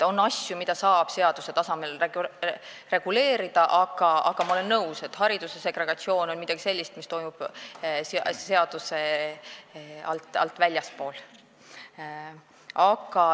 On asju, mida saab seaduse tasemel reguleerida, aga ma olen nõus, et segregatsioon hariduses on midagi sellist, mis toimub seadusest väljaspool.